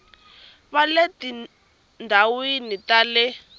va le tindhawini ta le